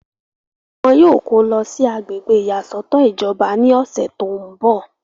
wọn yóò kó lọ sí agbègbè ìyàsọ́tọ̀ ìjọba ní ọ̀sẹ̀ tó ń bọ̀